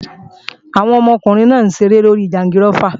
Àwọn ọmọkùnrin náà ń ṣeré lórí jangirófà